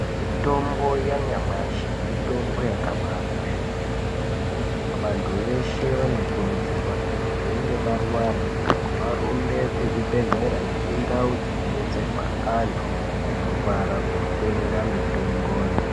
Mitombo yanyamashi mitombo yakabakosha kwemene. Vantu veshe vanokurudzirwa kuti veinge varwara varumbe kuzvibhedhlera nekundau dzinobetserwa antu anorwara kotenga mitomboyo.